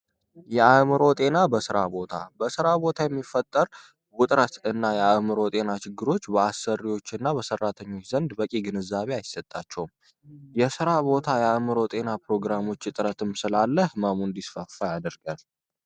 የአዕምሮ ጤና በስራ ቦታ በስራ ቦታ የሚፈጠር ውጥረት እና የአዕምሮ ችግሮች በአሰሪዎች እና ሰራተኞች ዘንድ በቂ ግንዛቤ አይሰጣቸውም። የስራ ቦታ የአዕምሮ ጤና እጥረትም ስላለ ህመሙ እንዲስፋፋ ያደርጋል።